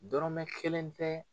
Dɔrɔmɛ kelen tɛ